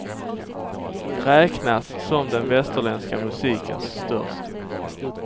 Räknas som den västerländska musikens störste.